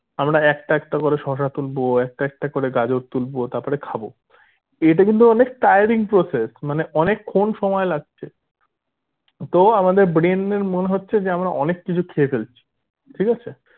আমরা একটা একটা করে শসা তুলবো একটা একটা করে গাজর তুলবো তারপরে খাবো এটা কিন্তু অনেক tiering process মানে অনেক্ষন সময় লাগছে তো আমাদের brain এর মনে হচ্ছে যে আমরা অনেক কিছু খেয়ে ফেলছি ঠিক আছে